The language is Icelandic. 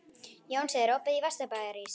Jónsi, er opið í Vesturbæjarís?